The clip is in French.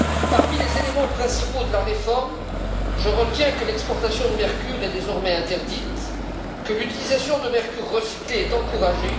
Parmi les éléments principaux de la réforme, je retiens que l'exportation de mercure est désormais interdite et que l'utilisation de mercure recyclé est encouragée.